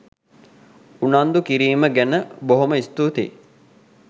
උනන්දු කිරිම ගැන බොහොම ස්තුතියි.